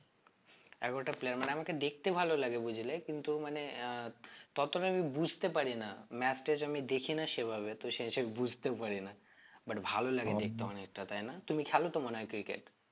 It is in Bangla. এগারোটা player মানে আমাকে দেখতে ভালো লাগে বুঝলে কিন্তু মানে আহ ততটা আমি বুঝতে পারি না match টেচ আমি দেখি না সেভাবে তো সেই হিসেবে বুঝতে পারি না but ভালো লাগে দেখতে তাই না? তুমি খেলো তো মনে হয় cricket